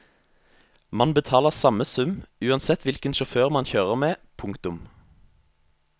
Man betaler samme sum uansett hvilken sjåfør man kjører med. punktum